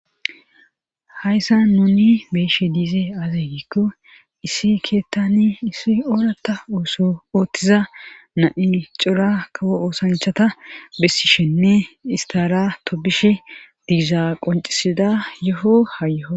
hayssa nuni be'she diize azey gikko issi keettani issi oorata ooththiza na7i cora kawo oosanchata bessishenne istarato bishe diiza qoncisida yoho ha yoho